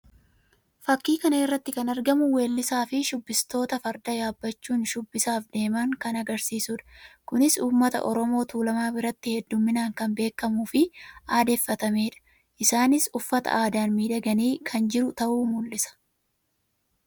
Fakkii kana irratti kan argamu weellisaa fi shubbistoota Farda yaabbachuun shubbisaaf deeman kan agarsiisuudha. Kunis uummata Oromoo Tuulamaa biratti hedduminaan kan beekamuu fi aadeeffatameedha. Isaannis uffata aadaan miidhaganii kan jiran ta'uu mul'isa.